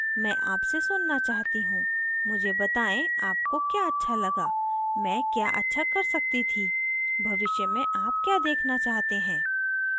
मैं आपसे सुनना चाहती हूँ मुझे बताएं आपको क्या अच्छा लगा मैं क्या अच्छा कर सकती थी भविष्य में आप क्या देखना चाहते हैं